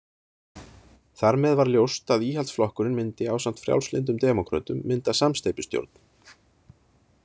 Þar með var ljóst að Íhaldsflokkurinn myndi ásamt Frjálslyndum demókrötum mynda samsteypustjórn.